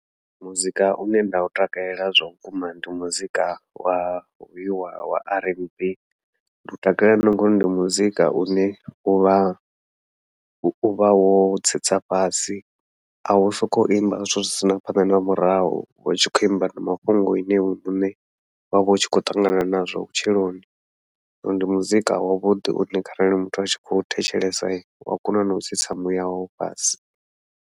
Muzika une nda u takalela zwa vhukuma ndi muzika wa hoyu wa r n b, ndi u takalela na ngauri ndi muzika une uvha uvha wo tsitsa fhasi au sokou imba zwithu zwi sina phanḓa na murahu, hu tshi khou imba na mafhungo ine iwe muṋe wavha u tshi khou ṱangana nazwo vhutshiloni. Zwino ndi muzika wavhuḓi une kharali muthu a tshi khou thetshelesa ua kona nau tsitsa muya wawe fhasi.